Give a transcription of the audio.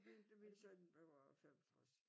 Min min søn bliver 65